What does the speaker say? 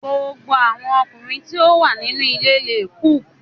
Gbogbo awọn ọkunrin ti o wa ninu ile le cook